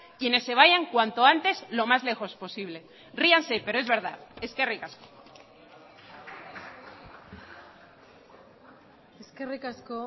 quienes se vayan cuanto antes lo más lejos posible ríanse pero es verdad eskerrik asko eskerrik asko